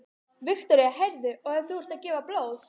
Viktoría: Heyrðu, og þú ert að gefa blóð?